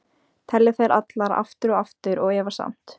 Telja þær allar, aftur og aftur- og efast samt.